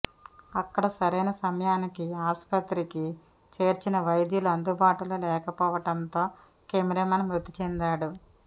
అక్కడ సరైన సమయానికి ఆసుపత్రికి చేర్చిన వైద్యులు అందుబాటులో లేకపోవడంతో కెమెరామెన్ మృతిచెందాడు